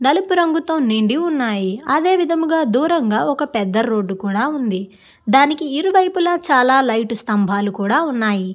నలుపు రంగుతో నిండి ఉన్నాయి అదే విధముగా దూరముగా పెద్ద రోడ్డు కూడా ఉంది దానికి ఇరు వైపులా చాలా లైట్ స్తంభాలు కూడా ఉన్నాయి.